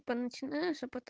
по начинаешь а потом